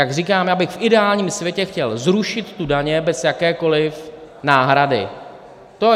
Jak říkám, já bych v ideálním světě chtěl zrušit ty daně bez jakékoliv náhrady.